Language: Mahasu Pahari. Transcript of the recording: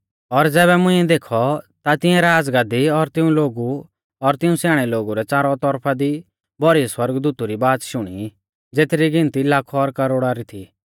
और ज़ैबै मुंइऐ देखौ ता तिऐं राज़गद्दी और तिऊं लोगु और तिऊं स्याणै लोगु रै च़ारौ तौरफा दी भौरी सौरगदूतु री बाच़ शुणी ज़ेथरी गिनती लाखौ और करोड़ा री थी